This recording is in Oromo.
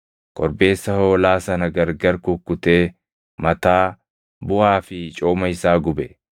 Korbeessa hoolaa sana gargar kukkutee mataa, buʼaa fi cooma isaa gube.